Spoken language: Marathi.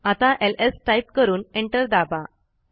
आता एलएस टाईप करून एंटर दाबा